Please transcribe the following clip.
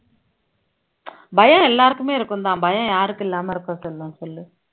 பயம் எல்லாருக்குமே இருக்கும் தான் பயம் யாருக்கு இல்லாம இருக்கும் சொல்லும் சொல்லு